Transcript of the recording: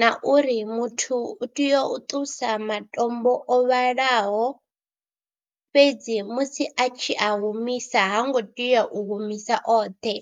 na uri muthu u tea u ṱusa matombo o vhalaho fhedzi musi a tshi a humisa ha ngo tea u humisa oṱhe.